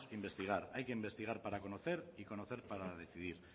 investigar hay que investigar para conocer y conocer para decidir